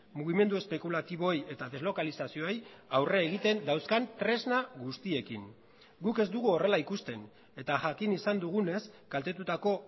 mugimendu espekulatiboei eta deslokalizazioei aurre egiten dauzkan tresna guztiekin guk ez dugu horrela ikusten eta jakin izan dugunez kaltetutako